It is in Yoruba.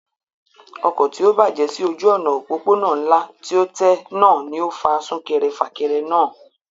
Ọkọ̀ tí ó bàjẹ́ sí ojú òná òpópónà ńlá tí ó tẹ́ náà ni ó fa súnkẹrẹ fàkẹrẹ náà